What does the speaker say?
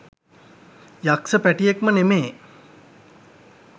යක්ස පැටියෙක්ම නෙමේ.